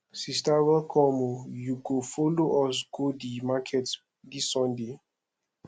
sister welcome o you go folo us go di market dis sunday